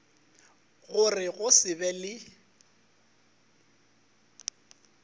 gore go se be le